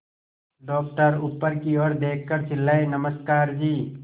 doctor ऊपर की ओर देखकर चिल्लाए नमस्कार जी